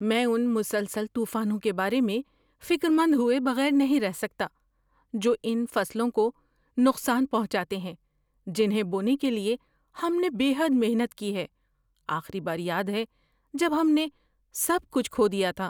میں ان مسلسل طوفانوں کے بارے میں فکرمند ہوئے بغیر نہیں رہ سکتا جو ان فصلوں کو نقصان پہنچاتے ہیں جنہیں بونے کے لیے ہم نے بے حد محنت کی ہے۔ آخری بار یاد ہے جب ہم نے سب کچھ کھو دیا تھا؟